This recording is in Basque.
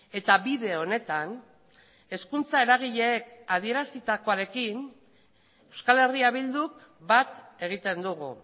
eta bide honetan hezkuntza eragileek adierazitakoarekin euskal herria bilduk bat egiten dugu